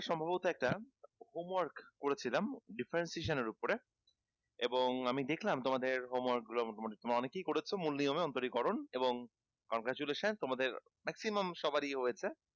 সম্ভবত একটা homework করেছিলাম differentiation এর ওপরে এবং আমি দেখলাম তোমাদের homework গুলো মোটামুটি তোমরা অনেকেই করেছো মূল নিয়মে অন্তরিকরণ এবং congratulation তোমাদের maximum সবারই হয়েছে